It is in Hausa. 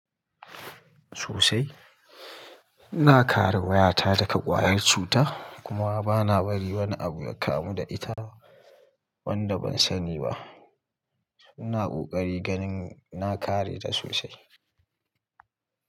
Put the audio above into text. Sosai, ina kare wayata daga ƙwayar cuta kuma bana bari wani abu ya kamu da ita wanda ban sani ba. Ina ƙoƙari ganin na kare ta sosai.